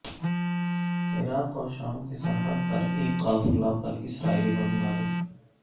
عراق اور شام کی سرحد پر ایک قافلے پر اسرائیلی بمباری